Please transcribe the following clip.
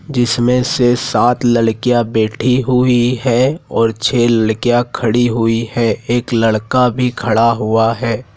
जिसमें से सात लड़कियाँ बैठी हुई है और छह लड़कियाँ खड़ी हुई है एक लड़का भी खड़ा हुआ हैं।